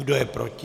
Kdo je proti?